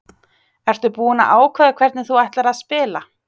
Ertu búinn að ákveða hvernig þú ætlar að spila?